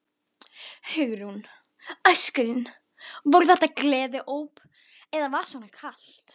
Hugrún: Öskrin, voru þetta gleðióp eða var svona kalt?